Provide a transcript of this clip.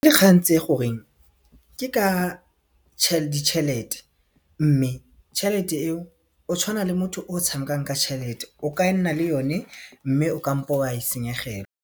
Dikgang tse goreng ke ka ditšhelete mme tšhelete eo o tshwana le motho o tshamekang ka tšhelete o ka nna le yone mme o kampo wa e senyegelwa.